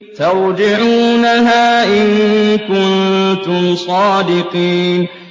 تَرْجِعُونَهَا إِن كُنتُمْ صَادِقِينَ